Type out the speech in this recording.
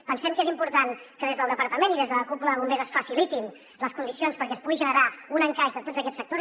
pensem que és important que des del departament i des de la cúpula de bombers es facilitin les condicions perquè es pugui generar un encaix de tots aquests sectors